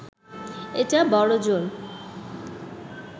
এটা বড়জোর